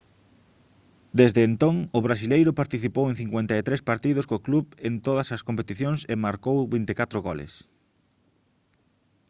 desde entón o brasileiro participou en 53 partidos co club en todas as competicións e marcou 24 goles